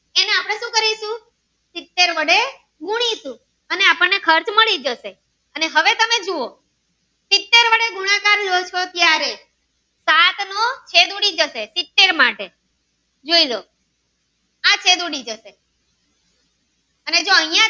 મળી જશે અને હવે તમે જુઓ સીતેર વડે ગુણાકાર લો ચો ત્યારે ઘાટ નો છેદ ઉડી જશે સીતેર માટે જોઈ લો આ છેદ ઉડી જશે અને જો અહીંયા.